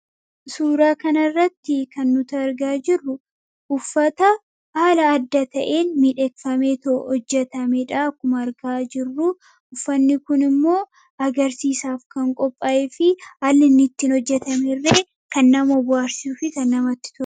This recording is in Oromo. suuraa kanarratti kan nuta argaa jirru uffata aala adda ta'een midheekfamee to'o hojjetamedhaa kuma argaa jirru uffanni kun immoo agarsiisaaf kan qophaa'e fi allin ittiin hojjetame irree kan nama waarsiu fita namatti tur'e